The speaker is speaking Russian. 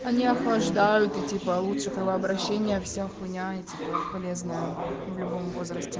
они охлаждают и типа лучше кровообращения всё хуйня и типа полезна любому в любом возрасте